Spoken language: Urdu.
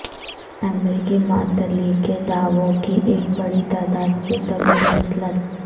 امریکی معطلی کے دعووں کی ایک بڑی تعداد کے طویل مسلط